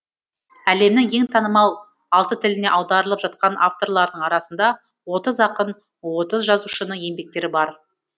әлемнің ең танымал алты тіліне аударылып жатқан авторлардың арасында отыз ақын отыз жазушының еңбектері бар